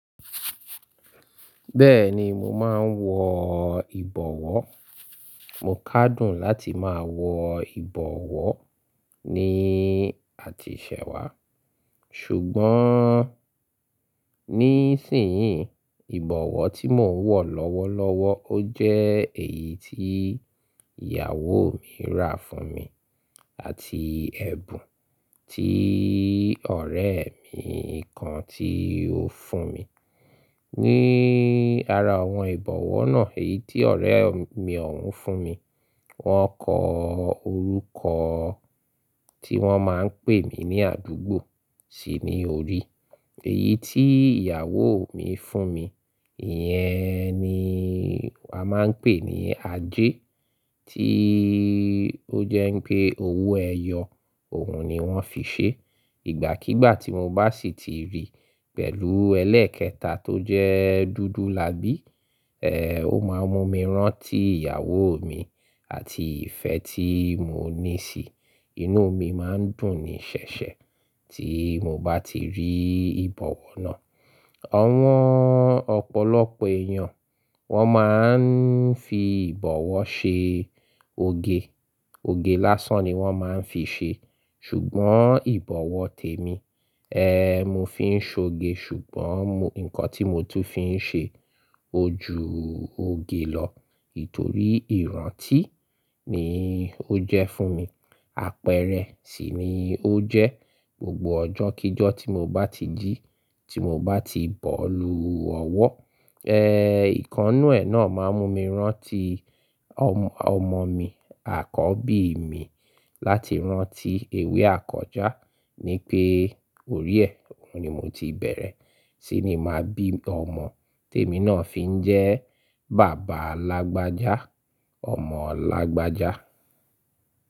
Bẹ́ẹ̀ni mò máa ń wọ ìbọwọ́— mò kádùn láti máa wọ ìbọwọ́— ní àtisẹwà. Ṣùgbọ́n —ní ìsin-inyí ìbọwọ́ tí mò ń wọ lọ́wọ́lọ́wọ́ ó jẹ́ èyí tí ìyàwó mi rà fún mi àti ẹ̀bùn tí ọ̀rẹ́ mi kan tí ó fún mi. Ní ara àwọn ìbọwọ́ náà, èyí tí ọ̀rẹ́ mi ọ̀won fún mi, wọ́n kọ orúkọ— tí wọ́n máa ń pè mí ní àdúgbò sí ní orí. Èyí tí ìyàwó mi fún mi, ìyẹn ni a máa ń pè ní ajé— tí ó jẹ́ pé owó ẹyọ òun ni wọ́n fi ṣe. Ìgbàkígbà tí mò bá si ti rí pẹ̀lú ẹlẹ́ẹ̀kẹta tó jẹ́ dúdú lábí, ẹ́ ò ma mú mi rán tí ìyàwó mi àti ìfẹ́ tí mò ní sí i. Inú mi máa ń dùn ní ṣẹ̀ṣẹ̀ tí mò bá ti rí ìbọwọ́ náà. Àwọn ọ̀pọ̀lọpọ̀ èèyàn —wọ́n máa ń fi ìbọwọ́ ṣe oge. Oge lásán ni wọ́n máa ń fi ṣe. Ṣùgbọ́n ìbọwọ́ tèmi, ẹ́ mò fi ń ṣe oge ṣùgbọ́n nǹkan tí mò tún fi ṣe— ojú oge lọ nítorí ìrántí —ni ó jẹ́ fún mi. Àpẹẹrẹ sì ni ó jẹ́, gbogbo ọjọ́kíjọ́ tí mò bá ti jí— tí mò bá ti bọ́lu ọwọ́, ẹ́ ìkannú ẹ̀ náà máa mú mi rán tí ọmọ mi àkọ́bí mi —láti rán tí ewé àkọ́já— ni pé —orí ẹ, òun ni mò ti bẹ̀rẹ̀ —sí ní máa bí ọmọ. Tèmi náà fi ń jẹ́— bàbá alágbájá, —ọmọ lágbájá.